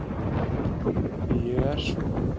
Því ég er svo